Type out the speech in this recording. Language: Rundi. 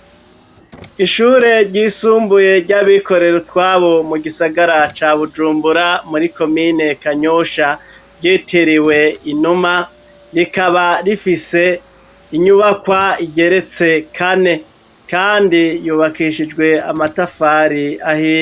Ishure ryisumbuye ry'abikorerutwabo mu gisagara ca Bujumbura muri komine Kanyosha ryitiriwe Inuma ,rikaba rifise inyubakwa igeretse kane kandi yubakishijwe amatafari ahiye.